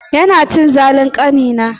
Yana cin zalin ƙanina.